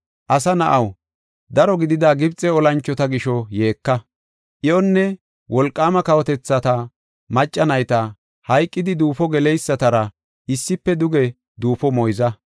“Asa na7aw, daro gidida Gibxe olanchota gisho yeeka. Iyonne, wolqaama kawotethata macca nayta hayqidi duufo geleysatara issife duge duufo moyza.